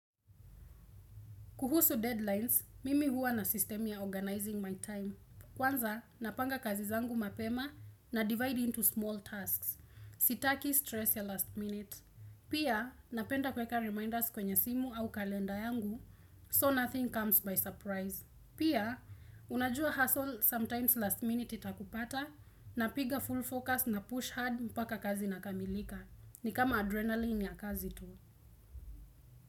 Kuhusu deadlines, mimi huwa na systemim ya organizing my time. Kwanza, napanga kazi zangu mapema na divide into small tasks. Sitaki stress ya last minute. Pia, napenda kuweka reminders kwenye simu au kalenda yangu, so nothing comes by surprise. Pia, unajua hassle sometimes last minute itakupata, napiga full focus na push hard mpaka kazi inakamilika. Ni kama adrenaline ya kazi tu.